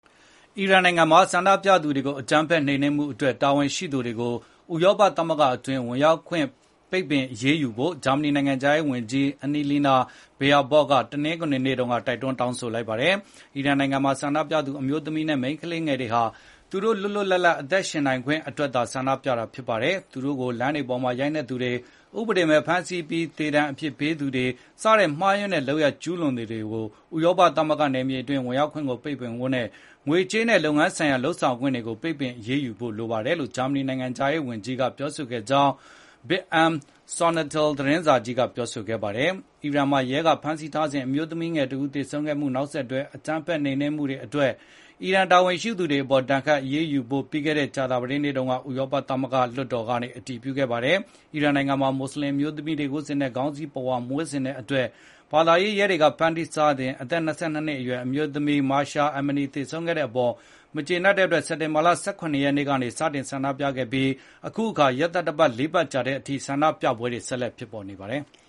အီရန်နိုင်ငံမှာ ဆန္ဒပြသူတွေကို အကြမ်းဖက်နှိမ်နင်းမှုအတွက် တာဝန်ရှိသူတွေကို ဥရောပသမဂ္ဂအတွင်း ဝင်ရောက်ခွင့် ပိတ်ပင်အရေးယူဖို့ ဂျာမနီ နိုင်ငံခြားရေးဝန်ကြီး Annalena Baerbock က တနင်္ဂနွေနေ့တုန်းက တိုက်တွန်းတောင်းဆို လိုက်ပါတယ်။ “ အီရန်နိုင်ငံမှာ ဆန္ဒပြသူ အမျိုးသမီးနဲ့ မိန်းကလေးငယ်တွေဟာ သူတို့ လွတ်လွတ်လပ်လပ် အသက်ရှင် နေထိုင်ခွင့်အတွက် ဆန္ဒပြတာသာ ဖြစ်ပါတယ်။ သူတို့ကို လမ်းတွေပေါ်မှာ ရိုက်နှက်သူတွေ၊ ဥပဒေမဲ့ ဖမ်းဆီးပြီး သေဒဏ်အပြစ်ပေးသူတွေ၊ စတဲ့ မှားယွင်းတဲ့ လုပ်ရပ်ကျူးလွန်သူတွေကို ဥရောပသမဂ္ဂ နယ်မြေအတွင်း ဝင်ရောက်ခွင့်ကို ပိတ်ပင်ဖို့နဲ့ ငွေကြေးနဲ့ လုပ်ငန်းဆိုင်ရာ လုပ်ဆောင်ခွင့်တွေကို ပိတ်ပင်အရေးယူဖို့ လိုပါတယ်လို့ ဂျာမနီ နိုင်ငံခြားရေး ဝန်ကြီး Annalena Baerbock ကပြောဆိုခဲ့ကြောင်း Bild am Sonntag သတင်းစာကြီးကဖေါ်ပြပါတယ်။ အီရန်မှာ ရဲက ဖမ်းဆီးထားစဉ် အမျိုးသမီးငယ်တဦး သေဆုံးမှုနဲ့ နောက်ဆက်တွဲ အကြမ်းဖက်နှိမ်နင်းမှုတွေ အတွက် အီရန်တာဝန်ရှိသူတွေ အပေါ် ဒဏ်ခတ်အရေးယူဖို့ ပြီးခဲ့တဲ့ ကြာသပတေးနေ့တုန်းက ဥရောပသမဂ္ဂ လွှတ်တော်က အတည်ပြုခဲ့ပါတယ်။ အီရန်နိုင်ငံမှာ မွတ်ဆလင် အမျိုးသမီးတွေ ဝတ်ဆင်တဲ့ ခေါင်းစည်းပဝါ မဝတ်တဲ့အတွက် ဘာသာရေးရဲတွေက ဖမ်းဆီးထားစဉ် အသက် ၂၂ နှစ်အရွယ် အမျိုးသမီး Mahsa Amini သေဆုံးခဲ့တဲ့အပေါ် မကျေနပ်တဲ့အတွက် စက်တင်ဘာလ ၁၇ ရက်နေ့က ဆန္ဒပြဆန့်ကျင်မှုတွေ စတင်ခဲ့ပြီး အခုအခါ ရက်သတ္တပတ် ၄ ပတ်ကြာတဲ့အထိ ဆန္ဒပြပွဲတွေ ဆက်လက် ဖြစ်ပေါ်နေပါတယ်။